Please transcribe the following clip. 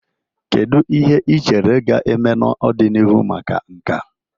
Kedu ihe ị chere ga-eme n'ọdịnihu maka nka?